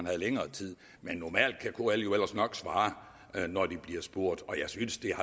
havde længere tid men normalt kan kl ellers nok svare når de bliver spurgt synes jeg